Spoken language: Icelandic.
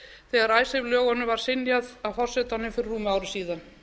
þegar icesave lögunum var synjað af forsetanum fyrir rúmu ári síðan